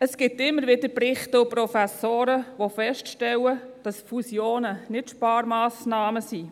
Es gibt immer wieder Berichte und Professoren, die feststellen, dass Fusionen nicht Sparmassnahmen sind.